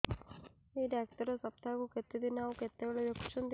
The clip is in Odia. ଏଇ ଡ଼ାକ୍ତର ସପ୍ତାହକୁ କେତେଦିନ ଆଉ କେତେବେଳେ ଦେଖୁଛନ୍ତି